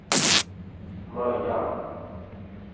Möja